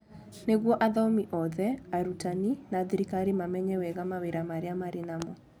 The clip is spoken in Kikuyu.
Nĩguo athomi othe, arutani, na thirikari mamenye wega mawĩra marĩa marĩ namo.